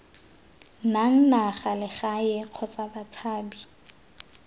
nang naga legae kgotsa batshabi